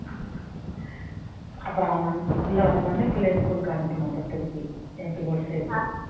அப்புறம் அவன் வந் பிள்ளை வந்த உடனே பிள்ளையை school க்கு அனுப்பணும் அப்புறம் திருப்பி MP சேர்த்து